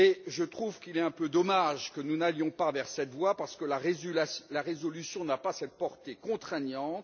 Je trouve qu'il est un peu dommage que nous n'allions pas dans cette voie parce que la résolution n'a pas cette portée contraignante.